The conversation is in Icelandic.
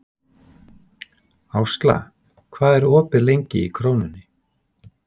Ásla, hvað er opið lengi í Krónunni?